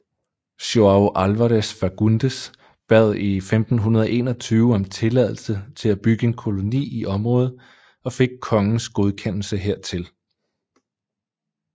João Álvares Fagundes bad i 1521 om tilladelse til at bygge en koloni i området og fik kongens godkendelse hertil